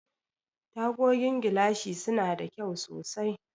Tagogin gilashi suna da kyau sosai.